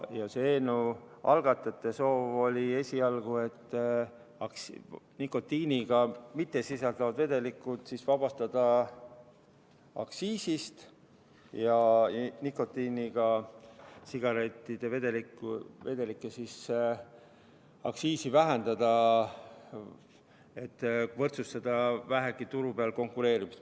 Eelnõu algatajate soov esialgu oli nikotiinisisalduseta vedelik vabastada aktsiisist ja nikotiinisisaldusega vedelikel vähendada aktsiisi, et vähegi võrdsustada turul konkureerimist.